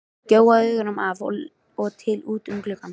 Gjóaði augunum af og til út um gluggann.